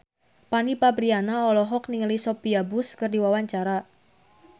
Fanny Fabriana olohok ningali Sophia Bush keur diwawancara